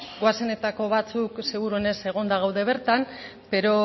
goazenetako batzuk seguruenez egonda gaude bertan pero